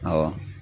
Awɔ